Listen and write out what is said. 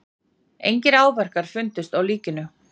Engir áverkar fundust á líkinu